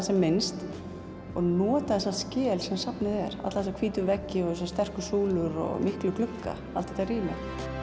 sem minnst nota þessa skel sem safnið er alla þessa hvítu veggi þessar sterku súlur og miklu glugga allt þetta rými